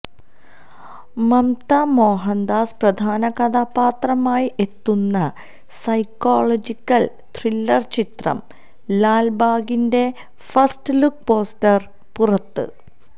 മംമ്താ മോഹന്ദാസ് പ്രധാന കഥാപാത്രമായി എത്തുന്ന സൈക്കളോജിക്കല് ത്രില്ലര് ചിത്രം ലാല്ബാഗിന്റെ ഫസ്റ്റ് ലുക്ക് പോസ്റ്റര് പുറത്ത്